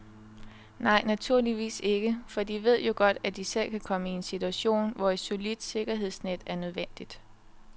Nej, naturligvis ikke, for de ved jo godt, at de selv kan komme i en situation, hvor et solidt sikkerhedsnet er nødvendigt.